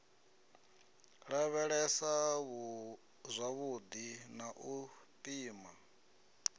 lavhelesa zwavhudi na u pima